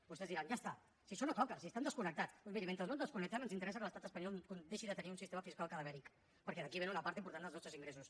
vostès diran ja està si això no toca si estem desconnectats doncs miri mentre no ens desconnectem ens interessa que l’estat espanyol deixi de tenir un sistema fiscal cadavèric perquè d’aquí vénen una part important dels nostres ingressos